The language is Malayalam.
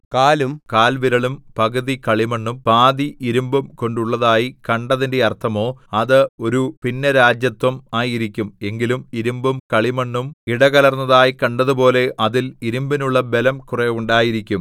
കാലും കാൽ വിരലും പകുതി കളിമണ്ണും പാതി ഇരുമ്പും കൊണ്ടുള്ളതായി കണ്ടതിന്റെ അർത്ഥമോ അത് ഒരു ഭിന്നരാജത്വം ആയിരിക്കും എങ്കിലും ഇരിമ്പും കളിമണ്ണും ഇടകലർന്നതായി കണ്ടതുപോലെ അതിൽ ഇരിമ്പിനുള്ള ബലം കുറെ ഉണ്ടായിരിക്കും